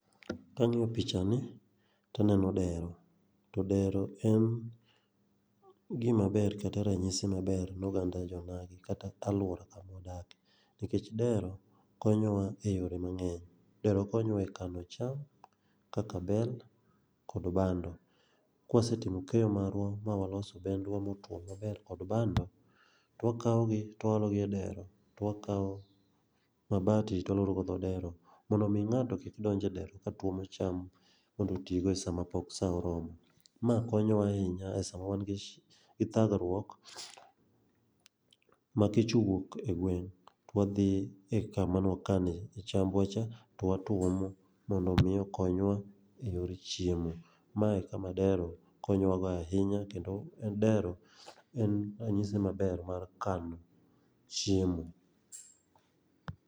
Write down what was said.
Kang'iyo picha ni to aneno dero. To dero en gima maber kata ranyisi maber no oganda jo onagi kata aluora kata kama wadake. Nikech dero konyowa eyore mang'eny. Dero konyowa e kano cham kaka bel kod bando. Kwasetimo kenyo marwa ma waloso bendwa motuo maber kod bando to wakawo to waologi e dero to wakawo mabati to waloro godo dhoo dero mondo mii ng'ato kik donje dero kotuomo cham kodhii tigo sama pook saa oromo. Maa konyowa ahinya sama wan gi dhagruok ma kech owuok egweng' to wadhii e kama nwakane e chambwacha to watuomo mondo mi okonywa eyore chiemo. Mae ekama dero konyowago ahinya kendo en bdero en ranyisi maber mar kano chiemo.